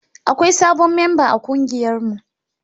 Akwai sabon memba a kungiyarmu.